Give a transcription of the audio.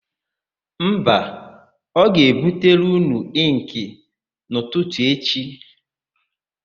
Mba, ọ ga-ebutere ụnụ ịnkị n'ụtụtụ echi.